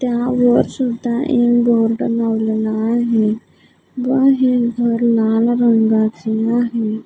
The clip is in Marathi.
त्यावर सुद्धा एक बोर्ड लावलेला आहे व हे घर लाल रंगाचं आहे.